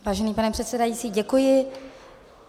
Vážený pane předsedající, děkuji.